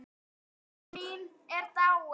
Elsku amma mín er dáin.